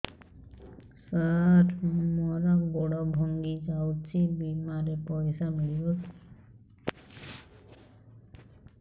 ସାର ମର ଗୋଡ ଭଙ୍ଗି ଯାଇ ଛି ବିମାରେ ପଇସା ମିଳିବ କି